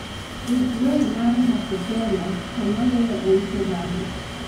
Tug wer mar nakupenda to maluwe en furaha